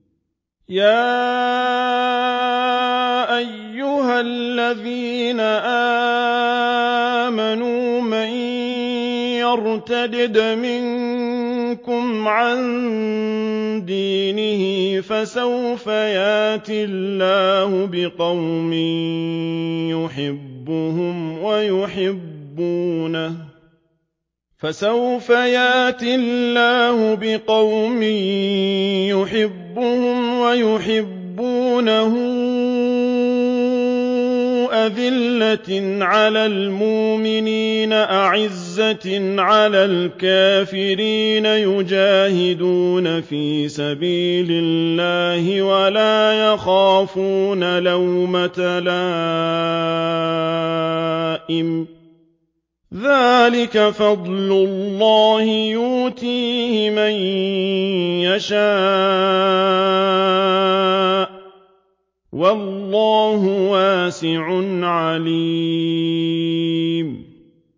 يَا أَيُّهَا الَّذِينَ آمَنُوا مَن يَرْتَدَّ مِنكُمْ عَن دِينِهِ فَسَوْفَ يَأْتِي اللَّهُ بِقَوْمٍ يُحِبُّهُمْ وَيُحِبُّونَهُ أَذِلَّةٍ عَلَى الْمُؤْمِنِينَ أَعِزَّةٍ عَلَى الْكَافِرِينَ يُجَاهِدُونَ فِي سَبِيلِ اللَّهِ وَلَا يَخَافُونَ لَوْمَةَ لَائِمٍ ۚ ذَٰلِكَ فَضْلُ اللَّهِ يُؤْتِيهِ مَن يَشَاءُ ۚ وَاللَّهُ وَاسِعٌ عَلِيمٌ